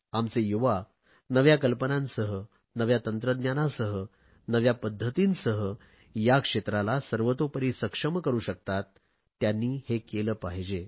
आमचे युवा नव्या कल्पनांसह नव्या तंत्रज्ञानासह नव्या पध्दतींसह या क्षेत्राला सर्वतोपरी सक्षम करु शकतात त्यांनी हे केले पाहिजे